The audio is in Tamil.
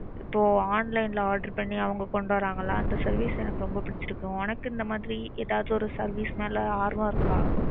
இப்போ online ல order பண்ணி அவங்க கொண்டுவருவாங்கள அந்த service தான் எனக்கு ரொம்ப பிடிச்சுருக்கு. உனக்கு இதேமாறி எதாவது ஒரு service மேல ஆர்வம் இருக்கா?